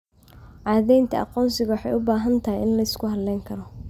Caddaynta aqoonsigu waxay u baahan tahay in la isku halayn karo.